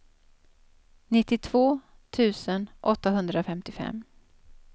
nittiotvå tusen åttahundrafemtiofem